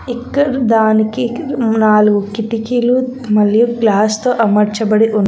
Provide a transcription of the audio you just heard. ఇక్కడ దానికి నాలుగు కిటికీలు మరియు గ్లాస్ తో అమర్చబడి ఉన్న--